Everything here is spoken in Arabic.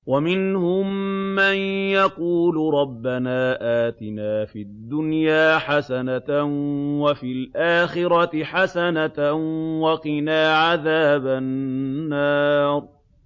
وَمِنْهُم مَّن يَقُولُ رَبَّنَا آتِنَا فِي الدُّنْيَا حَسَنَةً وَفِي الْآخِرَةِ حَسَنَةً وَقِنَا عَذَابَ النَّارِ